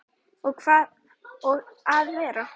Og að vera